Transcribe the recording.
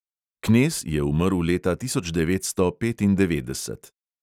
Knez je umrl leta tisoč devetsto petindevetdeset.